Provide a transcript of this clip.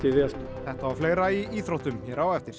þetta og fleira í íþróttum hér á eftir